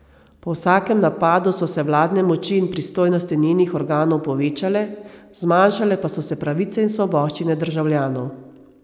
Po vsakem napadu so se vladne moči in pristojnosti njenih organov povečale, zmanjšale pa so se pravice in svoboščine državljanov.